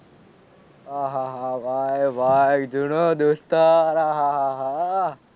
આહાહા ભાઈ ભાઈ જૂનો દોસ્તર આહાહા.